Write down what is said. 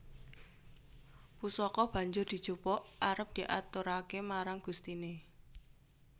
Pusaka banjur dijupuk arep diaturaké marang gustiné